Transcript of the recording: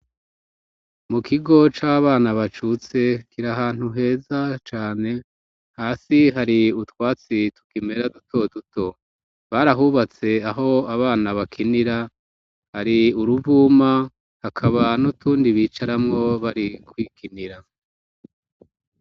Mu kigo c'abana bacutse, kiri ahantu heza cane. Hasi hari utwatsi tukimera duto duto, barahubatse aho abana bakinira hari uruvuma hakaba n'utundi bicaramwo bari kwikinira.